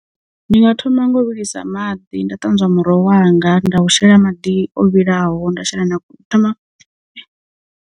Ndi nga thoma ngo vhilisa maḓi nda ṱanzwa muroho wanga nda u shela maḓi o vhilaho nda shela na ṱama .